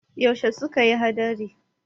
yaushe suka yi hadari?